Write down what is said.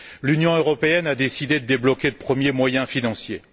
L'Union européenne a décidé de débloquer de premiers moyens financiers.